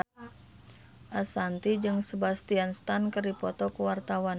Ashanti jeung Sebastian Stan keur dipoto ku wartawan